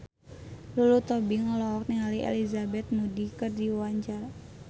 Lulu Tobing olohok ningali Elizabeth Moody keur diwawancara